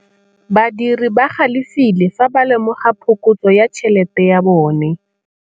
Badiri ba galefile fa ba lemoga phokotsô ya tšhelête ya bone.